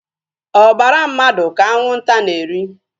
Obara mmadụ ka anwụnta na-eri